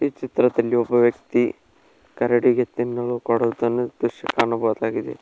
ಈ ಚಿತ್ರದಲ್ಲಿ ಒಬ್ಬ ವ್ಯಕ್ತಿ ಕರಡಿಗೆ ತಿನ್ನಲು ಕೊಡುವುದನ್ನು ದೃಶ್ಯ ಕಾಣಬಹುದಾಗಿದೆ.